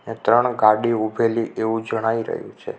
અહિયા ત્રણ ગાડી ઉભેલી એવુ જણાઈ રહ્યુ છે.